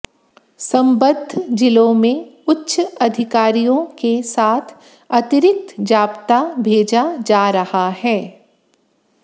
सम्बद्ध जिलों में उच्च अधिकारियों के साथ अतिरिक्त जाप्ता भेजा जा रहा है